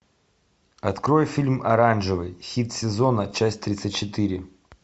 открой фильм оранжевый хит сезона часть тридцать четыре